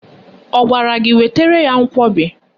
Ọ gwara gị wetara ya nkwọbi?